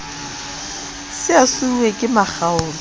se a siuwe ke makgaola